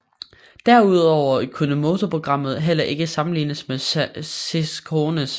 Derudover kunne motorprogrammet heller ikke sammenlignes med Sciroccoens